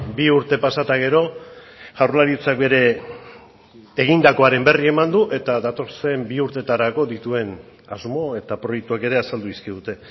bi urte pasa eta gero jaurlaritzak bere egindakoaren berri eman du eta datozen bi urtetarako dituen asmo eta proiektuak ere azaldu dizkigute